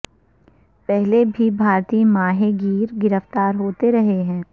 پہلے بھی بھارتی ماہی گیر گرفتار ہوتے رہے ہیں